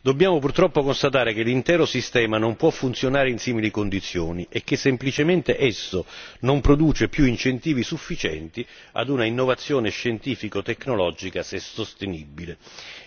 Dobbiamo purtroppo constatare che l'intero sistema non può funzionare in simili condizioni e che semplicemente esso non produce più incentivi sufficienti ad un'innovazione scientifico tecnologica sostenibile